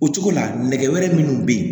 O cogo la nɛgɛ wɛrɛ minnu bɛ ye